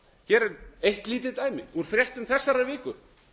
hér er eitt lítið dæmi úr fréttum þessarar viku